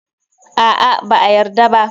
A'a, ba a yarda ba.